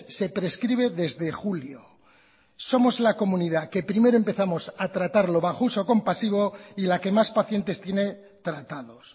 se prescribe desde julio somos la comunidad que primero empezamos a tratarlo bajo uso compasiva y la que más pacientes tiene tratados